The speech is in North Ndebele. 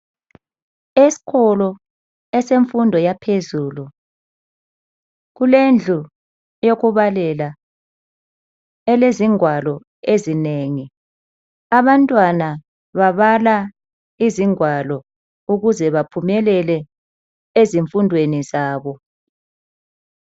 Esikolo esefundo yaphezulu kulendlu yokubalela elezigwalo ezinengi abantwana babala izigwalo ukuze baphumelele ezifundweni zabo.